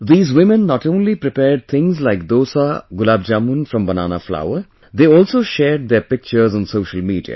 These women not only prepared things like dosa, gulabjamun from banana flour; they also shared their pictures on social media